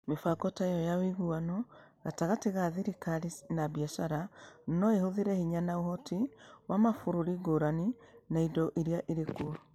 Mĩbango ta ĩyo ya ũiguano gatagatĩ ka thirikari na biacara no ĩhũthĩre hinya na ũhoti wa mabũrũri ngũrani, na indo iria irĩ kuo.